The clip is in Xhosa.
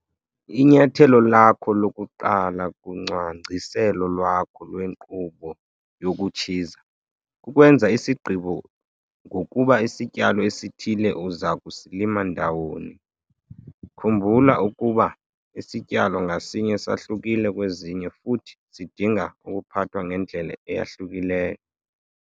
Inyathelo lakho lokuqala kucwangciselo lwakho lwenkqubo yokutshiza kukwenza isigqibo ngokuba isityalo esithile uza kusilima ndawoni. Khumbula ukuba isityalo ngasinye sahlukile kwezinye futhi sidinga ukuphathwa ngendlela eyahlukileyo.